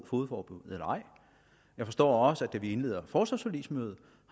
fogedforbud jeg forstår også at da vi indleder forsvarsforligsmødet